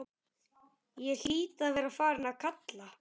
Ég hlýt að vera farin að kalka,